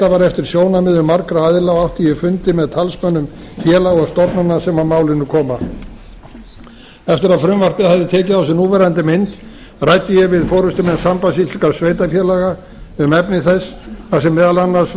var eftir sjónarmiðum margra aðila og átti ég fundi með talsmönnum félaga og stofnana sem að málinu koma eftir að frumvarpið hafði tekið á sig núverandi mynd ræddi ég við forustumenn sambands íslenskra sveitarfélaga um efni þess þar sem meðal annars